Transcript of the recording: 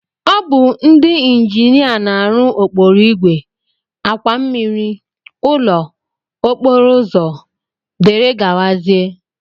Ọ bụ ndị injinia na-arụ okporoigwe, àkwà mmmiri, ụlọ, okporoụzọ dgz.